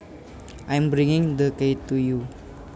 I am bringing the key to you